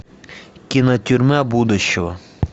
кино тюрьма будущего